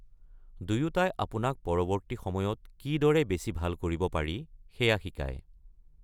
দুয়োটাই আপোনাক পৰৱৰ্তী সময়ত কিদৰে বেছি ভাল কৰিব পাৰি সেয়া শিকাই।